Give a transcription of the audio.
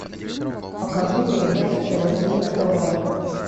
покажи передачу тв три на тв